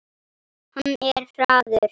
Hann er hraður.